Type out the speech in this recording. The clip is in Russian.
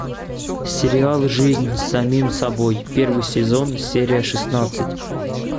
сериал жизнь с самим собой первый сезон серия шестнадцать